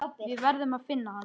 Við verðum að finna hann.